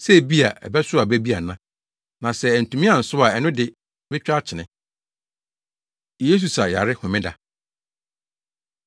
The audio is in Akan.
sɛ ebia, ɛbɛsow aba bi ana, na sɛ antumi ansow a ɛno de metwa akyene.’ ” Yesu Sa Yare Homeda